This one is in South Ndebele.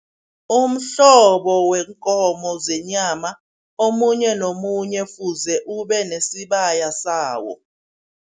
Umhlobo wenkomo zenyama, omunye nomunye fuze ubenesibaya sawo.